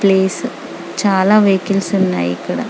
place చాల vehicles ఉన్నాయ్ ఇక్కడ